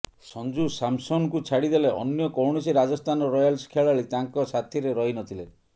ସଂଜୁ ସାମସନ୍ଙ୍କୁ ଛାଡ଼ିଦେଲେ ଅନ୍ୟ କୌଣସି ରାଜସ୍ଥାନ ରୟାଲ୍ସ ଖେଳାଳି ତାଙ୍କ ସାଥୀରେ ରହିନଥିଲେ